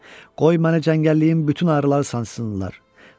Qoy məni cəngəlliyin bütün arıları sancsınlar.